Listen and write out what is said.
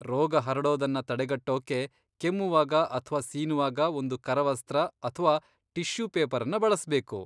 ರೋಗ ಹರಡೋದನ್ನ ತಡೆಗಟ್ಟೋಕ್ಕೆ, ಕೆಮ್ಮುವಾಗ ಅಥ್ವಾ ಸೀನುವಾಗ ಒಂದು ಕರವಸ್ತ್ರ ಅಥ್ವಾ ಟಿಷ್ಯೂ ಪೇಪರನ್ನ ಬಳಸ್ಬೇಕು.